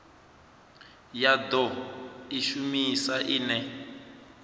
ya do i shumisa ine